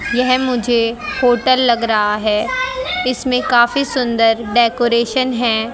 यह मुझे होटल लग रहा है इसमें काफी सुंदर डेकोरेशन है।